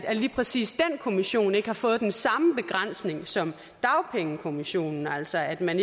at lige præcis den kommission ikke har fået den samme begrænsning som dagpengekommissionen altså at man